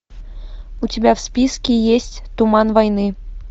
у тебя в списке есть туман войны